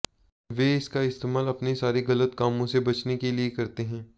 वे इनका इस्तेमाल अपने सारे गलत कामों से बचने के लिए करते हैं